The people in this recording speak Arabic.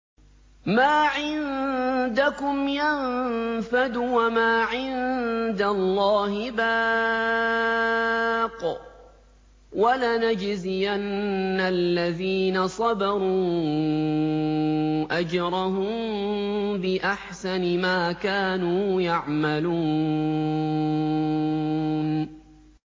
مَا عِندَكُمْ يَنفَدُ ۖ وَمَا عِندَ اللَّهِ بَاقٍ ۗ وَلَنَجْزِيَنَّ الَّذِينَ صَبَرُوا أَجْرَهُم بِأَحْسَنِ مَا كَانُوا يَعْمَلُونَ